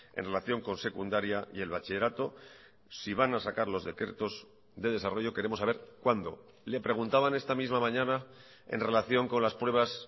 en relación con secundaria y el bachillerato si van a sacar los decretos de desarrollo queremos saber cuándo le preguntaban esta misma mañana en relación con las pruebas